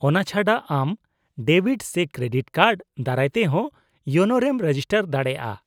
-ᱚᱱᱟ ᱪᱷᱟᱰᱟ, ᱟᱢ ᱰᱮᱵᱤᱴ ᱥᱮ ᱠᱨᱮᱰᱤᱴ ᱠᱟᱨᱰ ᱫᱟᱨᱟᱭ ᱛᱮᱦᱚᱸ ᱤᱭᱳᱱᱳᱨᱮᱢ ᱨᱮᱡᱤᱥᱴᱟᱨ ᱫᱟᱲᱮᱭᱟᱜᱼᱟ ᱾